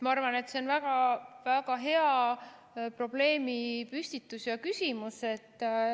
Ma arvan, et see on väga hea probleemipüstitus ja küsimus.